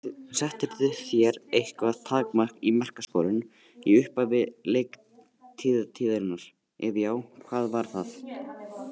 Settirðu þér eitthvað takmark í markaskorun í upphafi leiktíðarinnar, ef já, hvað var það?